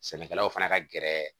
Sɛnɛkɛlaw fana ka gɛrɛ